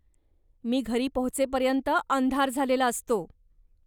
मी घरी पोहचेपर्यंत अंधार झालेला असतो.